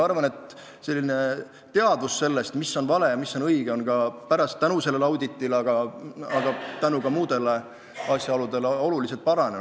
Üldiselt arvan, et teadmine sellest, mis on vale ja mis on õige, on tänu sellele auditile, aga ka tänu muudele asjaoludele märksa paranenud.